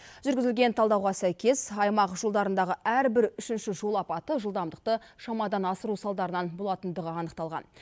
жүргізілген талдауға сәйкес аймақ жолдарындағы әрбір үшінші жол апаты жылдамдықты шамадан асыру салдарынан болатындығы анықталған